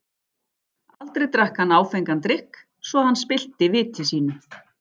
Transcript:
Aldrei drakk hann áfengan drykk, svo að hann spillti viti sínu.